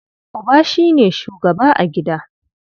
Uba shi ne shugaba a gida.